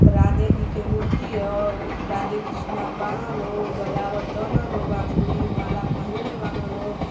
राधे जी की मूर्ति हइ राधे कृष्णा बानन लोग बजवातना लोग बाँसूड़ी माला पहिनलें बाना लोग ।